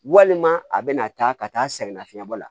Walima a bɛna taa ka taa sɛgɛnnafiɲɛ bɔ la